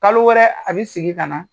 Kalo wɛrɛ a bɛ sigin ka na.